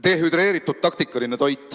Dehüdreeritud taktikaline toit.